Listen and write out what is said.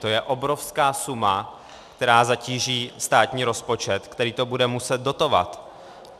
To je obrovská suma, která zatíží státní rozpočet, který to bude muset dotovat.